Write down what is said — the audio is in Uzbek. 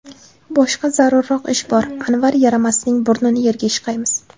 Boshqa zarurroq ish bor, Anvar yaramasning burnini yerga ishqaymiz.